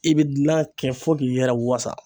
I bɛ gilan kɛ fo k'i yɛrɛ wasa.